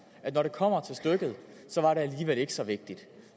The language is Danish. at når det kommer til stykket så var det alligevel ikke så vigtigt